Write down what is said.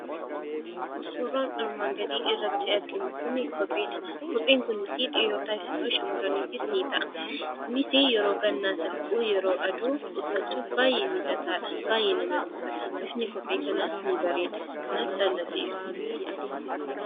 Suuraan armaan gadii irratti arginu kun kopheedha. Kopheen kun dhiirotaafis ta'ee shamarraniif ni ta'a. Kunis yeroo gannaas haa ta'uu yeroo aduu uffachuuf baay'ee mijataadha. Baay'ee namatti tola, bifni kophee kanaas ni bareeda kanaaf jalladheera.